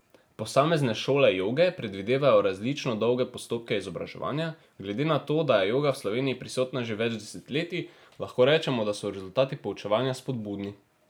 Posamezne šole joge predvidevajo različno dolge postopke izobraževanja, glede na to, da je joga v Sloveniji prisotna že več desetletij, lahko rečemo, da so rezultati poučevanja spodbudni.